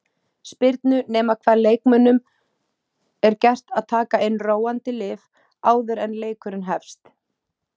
spyrnu nema hvað leikmönnunum er gert að taka inn róandi lyf áður en leikurinn hefst.